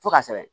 Fo ka sɛbɛn